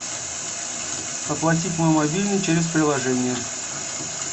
оплатить мой мобильный через приложение